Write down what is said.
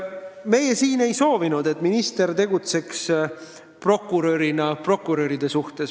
Meie siin ei soovi, et minister tegutseks prokuröride prokurörina.